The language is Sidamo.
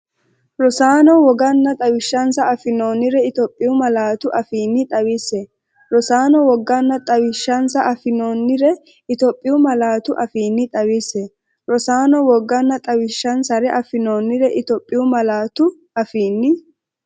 Rosaano, woganna xawishshinsare affinoonnire Itophiyu malaatu afiinni xawisse Rosaano, woganna xawishshinsare affinoonnire Itophiyu malaatu afiinni xawisse Rosaano, woganna xawishshinsare affinoonnire Itophiyu malaatu afiinni.